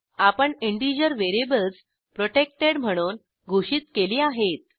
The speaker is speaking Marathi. आपण इंटिजर व्हेरिएबल्स प्रोटेक्टेड म्हणून घोषित केली आहेत